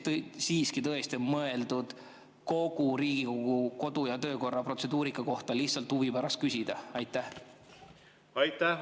Või on siiski tõesti mõeldud, et kogu Riigikogu kodu- ja töökorra protseduurika kohta võib lihtsalt huvi pärast küsida?